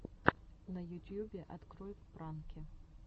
на ютьюбе открой пранки